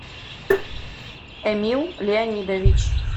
эмил леонидович